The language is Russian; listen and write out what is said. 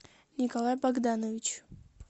николай богданович